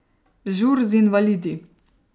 Žur z invalidi.